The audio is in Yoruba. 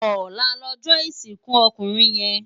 Òlá lòjò isinkú òkúnrin yèn